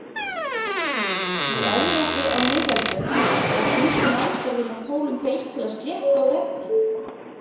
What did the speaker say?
Í Evrópu á miðöldum var ýmsum aðferðum og tólum beitt til að slétta úr efni.